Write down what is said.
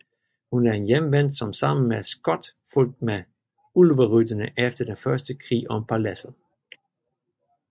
Hun er en Hjemvendt som sammen med Skot fulgte med Ulverytterne efter den første krig om Paladset